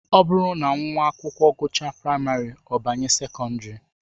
Ọ bụrụ na nwa akwụkwọ gụchaa praịmarị, ọ na-abanye sekọndịrị